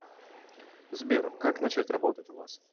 сбер как начать работать у вас